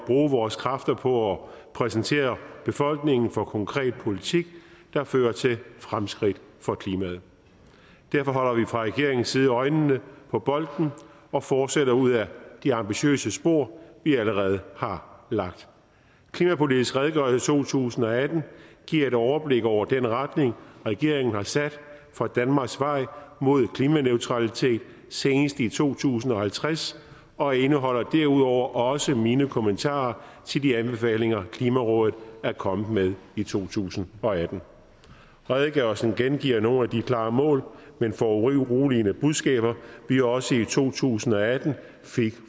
bruge vores kræfter på at præsentere befolkningen for konkret politik der fører til fremskridt for klimaet derfor holder vi fra regeringens side øjnene på bolden og fortsætter ud ad de ambitiøse spor vi allerede har lagt klimapolitisk redegørelse to tusind og atten giver et overblik over den retning regeringen har sat for danmarks vej mod klimaneutralitet senest i to tusind og halvtreds og indeholder derudover også mine kommentarer til de anbefalinger klimarådet er kommet med i to tusind og atten redegørelsen gengiver nogle af de klare mål men foruroligende budskaber vi også i to tusind og atten fik